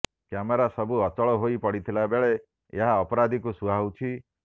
camera ସବୁ ଅଚଳ ହୋଇ ପଡିଥିଲା ବେଳେ ଏହା ଅପରାଧୀଙ୍କୁ ସୁହାଉଛି